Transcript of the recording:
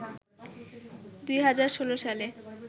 ২০১৬ সালে